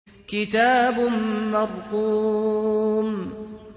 كِتَابٌ مَّرْقُومٌ